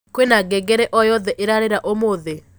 kwĩna ngengere o yothe irarira ũmũthĩ